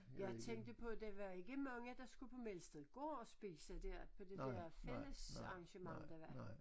Jeg tænkte på det var ikke mange der skulle på Melstedgård og spise der på det der fællesarrangement der var